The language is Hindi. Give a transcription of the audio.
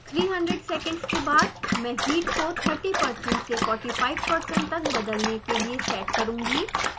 300 सेकेंड्स के बाद मैं हीट को 30% से 45% तक बदलने के लिए सेट करुँगी